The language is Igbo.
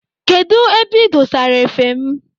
Kedụ ebe ị dosara efe m?